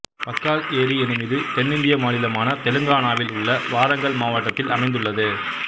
பக்கால் ஏரி எனும் இது தென்னிந்திய மாநிலமான தெலுங்கானாவில் உள்ள வாரங்கல் மாவட்டத்தில் அமைந்துள்ளது